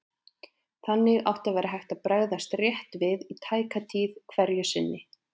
Þannig átti að vera hægt að bregðast rétt við í tæka tíð hverju sinni.